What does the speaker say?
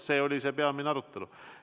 See oli see peamine arutelu.